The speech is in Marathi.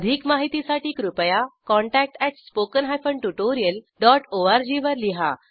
अधिक माहितीसाठी कृपया contact at spoken hyphen tutorial dot O R G वर लिहा